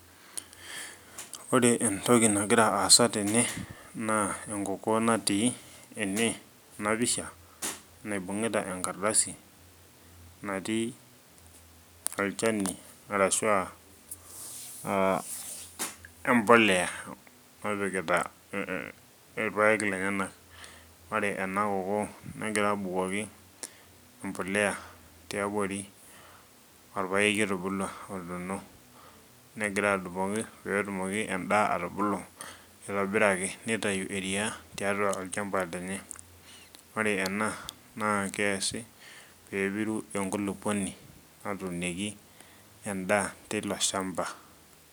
Ore entoki nagira aasa tene naa enkokoo natii ene enapisha naibung'ita enkardasi natii olchani arashua uh empoleya napikita irpayek lenyenak ore ena kokoo negira abukoki empoleya tiabori orpayeki otubulua otuno negira abukoki petumoki endaa atubulu aitobiraki nitayu eria tiatua olchamba lenye ore ena naa keesi peepiru enkulupuoni natuunieki endaa teilo shamba.